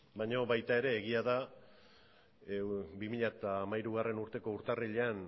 baino baita ere egia da bi mila hamairugarrena urteko urtarrilean